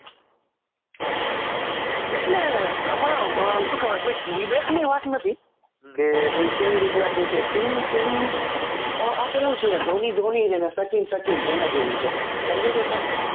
એ આમાં શું કહેવાય કોઈ ડિબેટ ની વાત નથી કે ભાઈ કેવી રીતના છે કે શું સીન આપેલું છે ધોની ધોની અને સચિન સચિન એના જેવું છે સમજે છો તમે